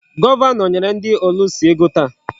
Gọvanọ nyere ndị ọlụsị ego taa.